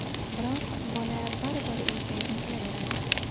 Biroq bola baribir uyiga intilaveradi.